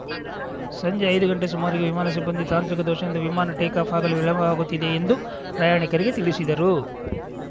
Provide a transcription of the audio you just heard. ಸಂಜೆ ಐದು ಗಂಟೆ ಸುಮಾರಿಗೆ ವಿಮಾನ ಸಿಬ್ಬಂದಿ ತಾಂತ್ರಿಕ ದೋಷದಿಂದ ವಿಮಾನ ಟೇಕಾಫ್‌ ಆಗಲು ವಿಳಂಬವಾಗುತ್ತಿದೆ ಎಂದು ಪ್ರಯಾಣಿಕರಿಗೆ ತಿಳಿಸಿದರು